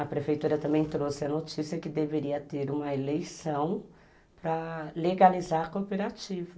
A prefeitura também trouxe a notícia que deveria ter uma eleição para legalizar a cooperativa.